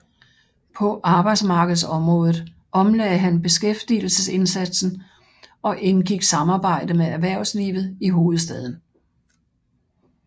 På arbejdsmarkedsområdet omlagde han beskæftigelsesindsatsen og indgik samarbejde med erhvervslivet i hovedstaden